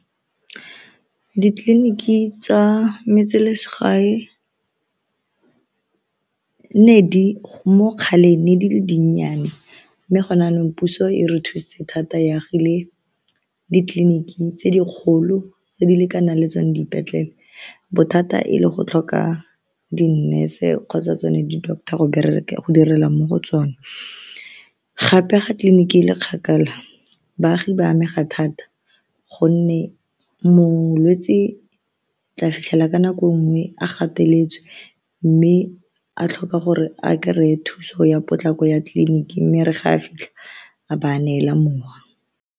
Ditleliniki tsa metselesegae mo kgaleng ne di le dinnyane mme gone jaanong puso e re thusitse thata e agile ditleliniki tse di kgolo tse di lekanang le tsone dipetlele bothata e le go tlhoka di-nurse-e kgotsa tsone di-doctor go direla mo go tsone gape ga tleliniki e le kgakala baagi ba amega thata gonne molwetse tla fitlhela ka nako nngwe a gateletswe mme a tlhoka gore a kry-e thuso ya potlako ya tleliniking mme e re ga a fitlha a ba a neela mowa.